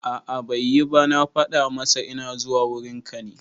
A'a bai yi ba, na fada masa ina zuwa wurin ka ne